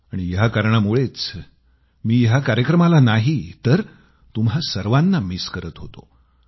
आणि या कारणामुळेच मी या कार्यक्रमाला नाही तर तुम्हा सर्वांना मिस करत होतो